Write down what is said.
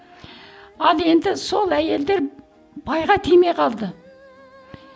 ал енді сол әйелдер байға тимей қалды